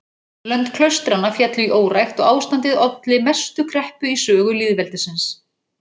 Lönd klaustranna féllu í órækt og ástandið olli mestu kreppu í sögu lýðveldisins.